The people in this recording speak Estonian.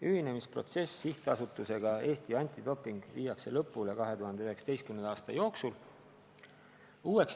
Ühinemine SA-ga Eesti Antidoping viiakse lõpule 2019. aasta jooksul.